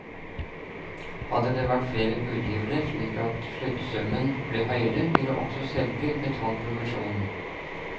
Hadde det vært flere budgivere, slik at sluttsummen ble høyere, ville også selger betalt provisjon.